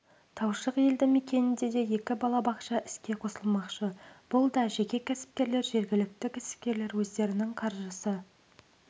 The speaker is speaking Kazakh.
таушық елді мекенінде де екі балабақша іске қосылмақшы бұл да жеке кәсіпкерлер жергілікті кәсіпкерлер өздерінің қаржысы